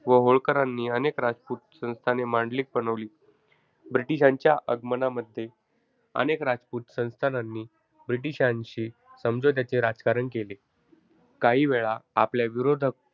व होळकरांनी अनेक राजपूत संस्थाने मांडलिक बनवली. British च्या आगमनामध्ये, अनेक रजपूत संस्थांनानी british शी समझोत्याचे राजकारण केले. काही वेळा आपल्या विरोधक,